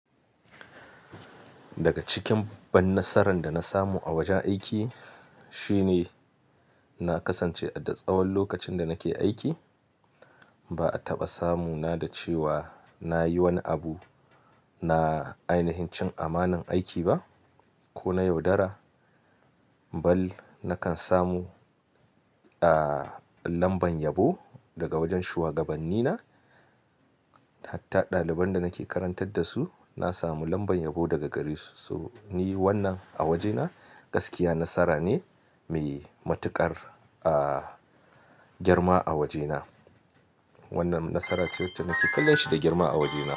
Daga cikin babban nasaran da na samu a wajen aiki, shine na kasance a duk tsawon lokacin da nake aiki. Ba a taɓa samu na da cewa na yi wani abu na ainahin cin amanar aiki ba ko na yaudara. Bal nakan samu, ah, lambar yabo daga wajen shugabanni na. Hatta ɗaliban da nake karantar da su na samu lambar yabo daga gare su. So ni wannan a wajena gaskiya nasara ne mai matuƙar, girma a wajena. Wannan nasara ce wacce nake kallon shi da girma a wajena.